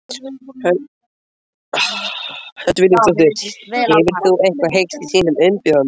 Hödd Vilhjálmsdóttir: Hefur þú eitthvað heyrt í þínum umbjóðanda?